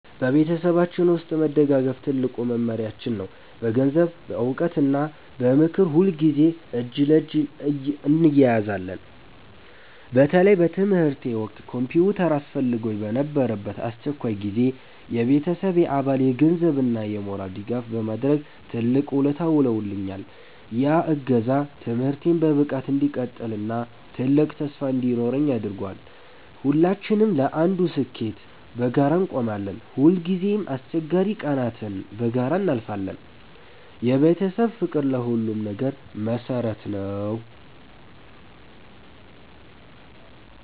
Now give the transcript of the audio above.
በቤተሰባችን ውስጥ መደጋገፍ ትልቁ መመሪያችን ነው። በገንዘብ፣ በዕውቀት እና በምክር ሁልጊዜ እጅ ለእጅ እንያያዛለን። በተለይ በትምህርቴ ወቅት ኮምፒውተር አስፈልጎኝ በነበረበት አስቸጋሪ ጊዜ፣ የቤተሰቤ አባል የገንዘብ እና የሞራል ድጋፍ በማድረግ ትልቅ ውለታ ውሎልኛል። ያ እገዛ ትምህርቴን በብቃት እንድቀጥል እና ትልቅ ተስፋ እንዲኖረኝ አድርጓል። ሁላችንም ለአንዱ ስኬት በጋራ እንቆማለን። ሁልጊዜም አስቸጋሪ ቀናትን በጋራ እናልፋለን። የቤተሰብ ፍቅር ለሁሉም ነገር መሰረት ነው።